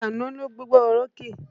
Àkànó ló gbégbá orókè.